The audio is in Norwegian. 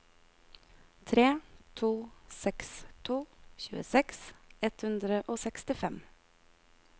tre to seks to tjueseks ett hundre og sekstifem